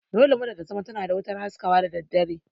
Dole mota ta zamo tana da wutar haskawa da daddare